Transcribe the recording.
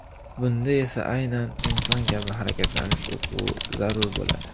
Bunda esa aynan inson kabi harakatlanish o‘quvi zarur bo‘ladi.